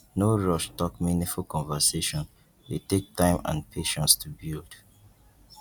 no rush talk meaningful conversation dey take time and patience to build